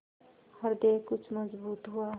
हृदय कुछ मजबूत हुआ